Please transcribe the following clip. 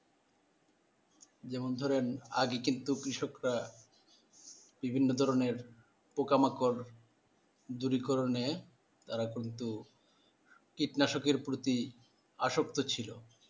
যেমন ধরো আগে কিন্তু কৃষকরা বিভিন্ন ধরণের পোকামাকড় যদিকরণে তারা কিন্তু কীটনাশকের প্রতি আসক্ত ছিল